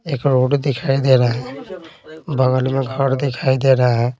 एक रोड दिखाई दे रहा है बगल में घर दिखाई दे रहा है।